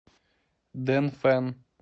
дэнфэн